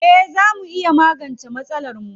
Eh zaa mu iya magance masalarmu.